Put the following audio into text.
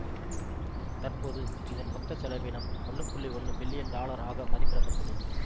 தற்போது இதன் மொத்தச் செலவீனம் ஒன்னு புள்ளி ஒன்னு பில்லியன் டாலர் ஆக மதிப்பிட பட்டுள்ளது